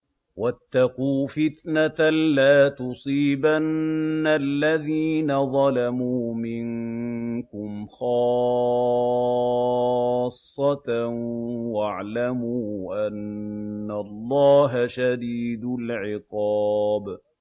وَاتَّقُوا فِتْنَةً لَّا تُصِيبَنَّ الَّذِينَ ظَلَمُوا مِنكُمْ خَاصَّةً ۖ وَاعْلَمُوا أَنَّ اللَّهَ شَدِيدُ الْعِقَابِ